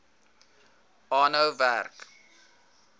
aanhou werk